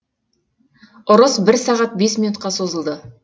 ұрыс бір сағат бес минутқа созылды